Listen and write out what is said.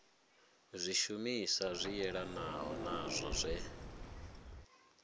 zwishumiswa zwi yelanaho nazwo zwe